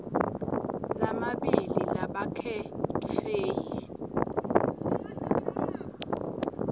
lamabili labakhetfwe yi